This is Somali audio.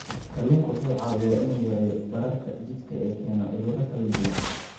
Kalluunku waxa uu caawiyaa in uu yareeyo bararka jidhka ee keena cudurro kala duwan.